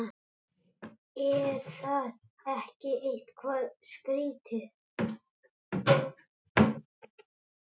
Er það ekki eitthvað skrítið?